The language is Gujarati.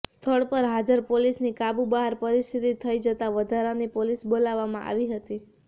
સ્થળ પર હાજર પોલીસની કાબુ બહાર પરિસ્થિતિ થઈ જતાં વધારાની પોલીસ બોલાવવામાં આવી હતી